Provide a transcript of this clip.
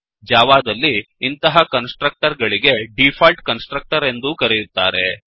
ಜಾವಾದಲ್ಲಿ ಇಂತಹ constructor ಗಳಿಗೆ ಡಿಫಾಲ್ಟ್ ಕನ್ಸ್ ಟ್ರಕ್ಟರ್ ಎಂದೂ ಕರೆಯುತ್ತಾರೆ